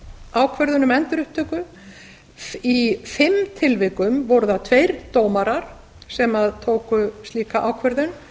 ákvörðun um endurupptöku í fimm tilvikum voru það tveir dómarar sem tóku slíka ákvörðun